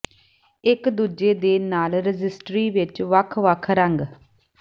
ਇੱਕ ਦੂਜੇ ਦੇ ਨਾਲ ਰਜਿਸਟਰੀ ਵਿੱਚ ਵੱਖ ਵੱਖ ਰੰਗ